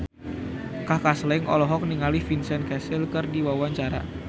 Kaka Slank olohok ningali Vincent Cassel keur diwawancara